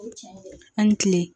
Ani kile